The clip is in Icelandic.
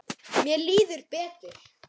Mér líður betur.